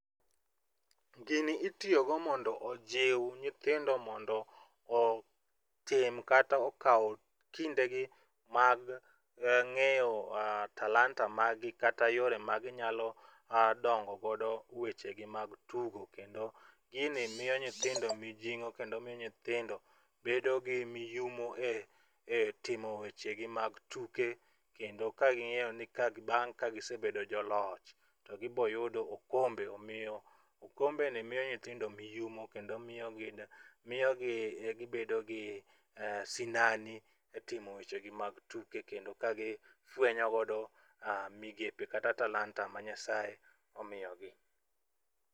Gini itiyogo mondo ojiw nyithindo mondo otim kata okaw kindegi mag ng'eyo talanta margi kata yore ma ginyalo dongo godo wechegi mag tugo. Kendo gini miyo nyithino mijing'o kendo miyo nyithindo bedo gi miyumo e timo wechegi mag tuke kendo ka ging'eyo ni bang' ka gisebedo joloch to gibiro yudo okombe omiyo okembeni miyo nyithindo miyumo kendo miyo gibedo gi sinani e timo weche gi mag tuke kendo ka gifuenyo godo migepe kata talanta ma Nyasaye omiyogi.